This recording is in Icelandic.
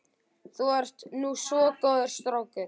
Þú ert nú svo góður strákur.